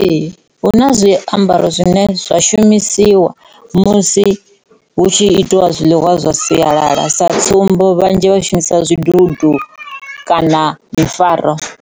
Ee, huna zwiambaro zwine zwa shumisiwa musi hu tshi itiwa zwiḽiwa zwa sialala sa tsumbo vhanzhi vha shumisa zwidudu kana mifaro.